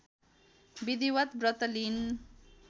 विधिवत् व्रत लिइन्